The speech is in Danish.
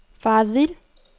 faret vild